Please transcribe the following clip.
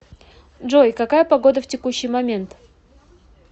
джой какая погода в текущий момент